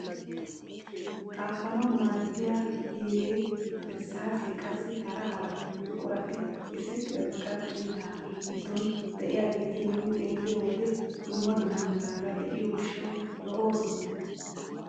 Xaafanawu maaddiyaa biiree irssaasee qassi hara hara buqurati issi qarcciitaa giddon de'iyaageti nuuni xeelliyoo wode dumma dumma meraara de'iyoo gishshawu lo"oosona.